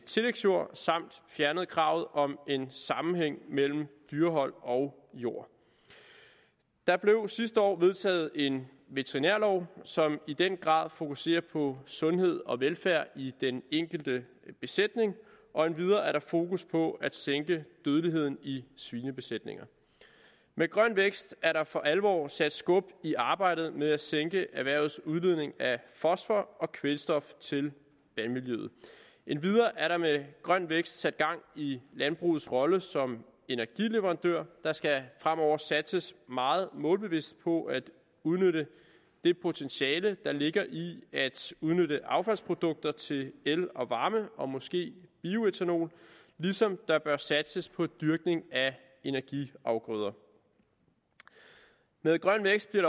tillægsjord samt fjernede kravet om en sammenhæng mellem dyrehold og jord der blev sidste år vedtaget en veterinærlov som i den grad fokuserer på sundhed og velfærd i den enkelte besætning og endvidere er der fokus på at sænke dødeligheden i svinebesætninger med grøn vækst er der for alvor sat skub i arbejdet med at sænke erhvervets udledning af fosfor og kvælstof til vandmiljøet endvidere er der med grøn vækst sat gang i landbrugets rolle som energileverandør der skal fremover satses meget målbevidst på at udnytte det potentiale der ligger i at udnytte affaldsprodukter til el og varme og måske bioætanol ligesom der bør satses på dyrkning af energiafgrøder med grøn vækst bliver